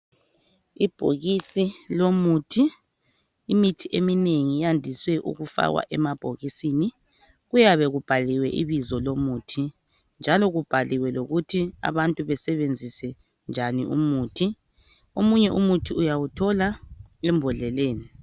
Ibhokisi lomuthi. Imithi eminengi iyandiswe ukufakwa emabhokisini. Kuyabe kubhaliwe ibizo lomuthi njalo kubhaliwe lokuthi abantu besebenzise njani umuthi. Omunye umuthi uyawuthola embodleleni.